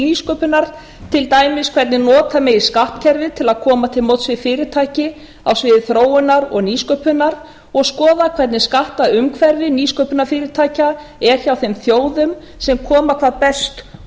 nýsköpunar til dæmis hvernig nota megi skattkerfið til að koma til móts við fyrirtæki á sviði þróunar og nýsköpunar og skoða hvernig skattaumhverfi nýsköpunarfyrirtækja er hjá þeim þjóðum sem koma hvað best